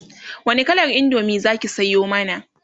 wani kalar indomie zaki Sayo mana?